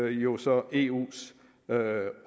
jo så eus